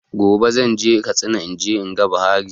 Gobe zan je Katsina in je in ga Buhari